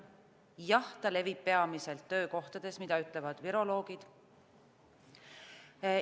Jah, see levib peamiselt töökohtades, seda ütlevad viroloogid.